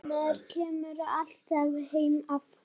Maður kemur alltaf heim aftur